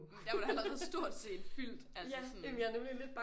Der var der allerede stort set fyldt altså sådan